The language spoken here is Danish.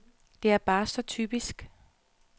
Det er bare så typisk.